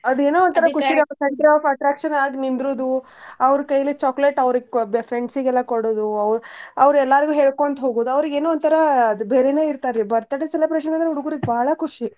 ಅದೇನೋ ಒಂತರಾ ಖುಷಿ center of attraction ಆಗ್ ನಿಂದ್ರೂದು ಅವ್ರ್ ಕೈಲೇ chocolate ಅವ್ರ ಕೋ~ ಅವ್ರ friends ಎಲ್ಲಾ ಕೊಡೋದು ಅವ್ರ ಎಲ್ಲಾರ್ಗೂ ಹೇಳ್ಕೊಂತ್ ಹೋಗೋದ್ ಅವ್ರ್ಗ್ ಏನೋ ಒಂತರ ಅದ್ ಬೇರೆನ ಇರ್ತಾರ್ ರೀ birthday celebration ಅಂದ್ರ ಹುಡ್ಗುರ್ಗ ಬಾಳ ಖುಷಿ.